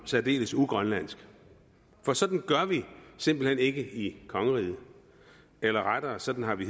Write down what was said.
særdeles ugrønlandsk for sådan gør vi simpelt hen ikke i kongeriget eller rettere sådan har vi